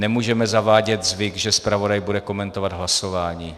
Nemůžeme zavádět zvyk, že zpravodaj bude komentovat hlasování.